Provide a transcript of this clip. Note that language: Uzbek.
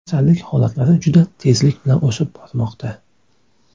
Kasallik holatlari juda tezlik bilan o‘sib bormoqda.